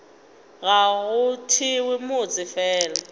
ga go thewe motse fela